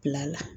Bila la